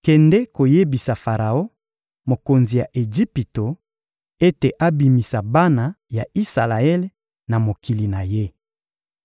— Kende koyebisa Faraon, mokonzi ya Ejipito, ete abimisa bana ya Isalaele na mokili na ye.